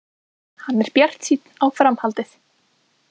Hann er bjartsýnn á framhaldið.